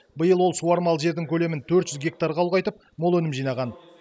биыл ол суармалы жердің көлемін төрт жүз гектарға ұлғайтып мол өнім жинаған